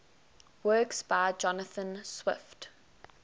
works by jonathan swift